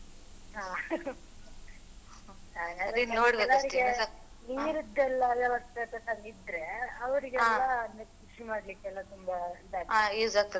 ಹ ಕೆಲವರಿಗೆ ನೀರಿದೆಲ್ಲ ಇದ್ರೆ ಅವ್ರಿಗೆಲ್ಲಇದು ಕೃಷಿ ಮಾಡ್ಲಿಕ್ಕೆಲ್ಲ ತುಂಬ ಇದಾಗ್ತದೆ.